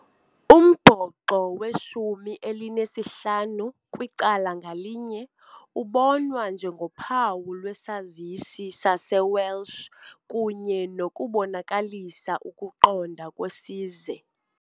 Umbhoxo weshumi elinesihlanu kwicala ngalinye ubonwa njengophawu lwesazisi saseWales kunye nokubonakaliswa kokuqonda kwesizwe.